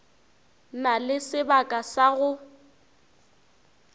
na le sebaka sa go